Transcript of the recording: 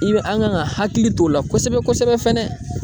I bɛ an kan ka hakili t'o la kosɛbɛ kosɛbɛ kosɛbɛ.